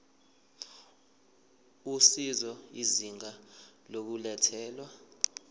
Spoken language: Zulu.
usizo izinga lokulethwa